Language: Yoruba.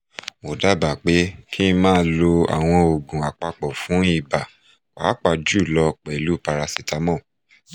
mo dábàá pé kí n má lo àwọn oògùn àpapọ̀ fún ibà pàápàá jùlọ pẹ̀lú paracetamol